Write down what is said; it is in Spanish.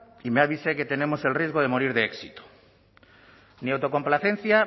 y me avise que tenemos el riesgo de morir de éxito ni autocomplacencia